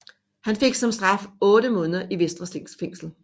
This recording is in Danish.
Han fik som straf otte måneder i Vestre Fængsel